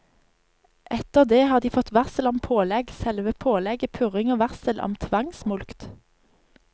Etter det har de fått varsel om pålegg, selve pålegget, purring og varsel om tvangsmulkt.